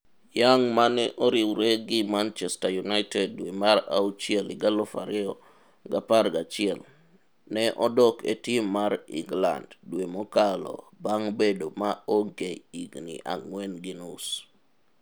Young mane oriwre gi Manchseter United dwe mar auchiel 2011, ne odok e tim mar England dwe mokalo bang' bedo maonge higni ang'wen gi nus.